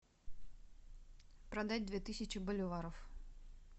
продать две тысячи боливаров